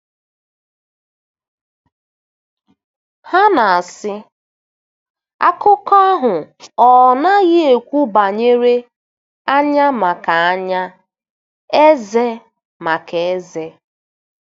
Ha na-asị, "Akụkọ ahụ ọ̀ naghị ekwu banyere 'anya maka anya, ezé maka ezé'?"